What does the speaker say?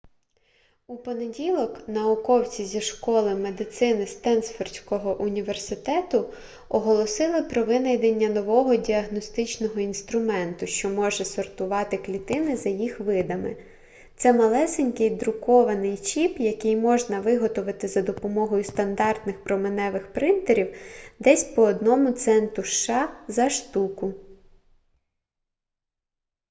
у понеділок науковці зі школи медицини стенфордського університету оголосили про винайдення нового діагностичного інструменту що може сортувати клітини за їх видами це малесенький друкований чіп який можна виготовити за допомогою стандартних променевих принтерів десь по одному центу сша за штуку